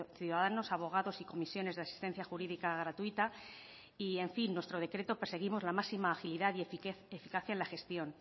ciudadanos abogados y comisiones de asistencia jurídica gratuita y en fin nuestro decreto perseguimos la máxima agilidad y eficacia en la gestión